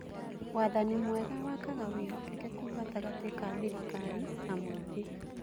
Wathani mwega wakaga wĩhokeku gatagatĩ ka thirikari na mũingĩ.